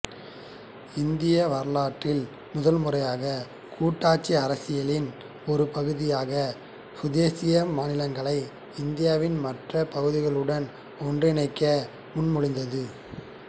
இந்திய வரலாற்றில் முதல்முறையாக கூட்டாட்சி அரசியலின் ஒரு பகுதியாக சுதேச மாநிலங்களை இந்தியாவின் மற்ற பகுதிகளுடன் ஒன்றிணைக்க முன்மொழிந்தது